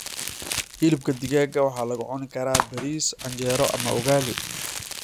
Hilibka digaaga waxaa lagu cuni karaa bariis, canjeero ama ugali.